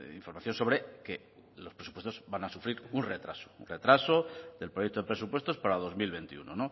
información sobre que los presupuestos van a sufrir un retraso un retraso del proyecto de presupuestos para dos mil veintiuno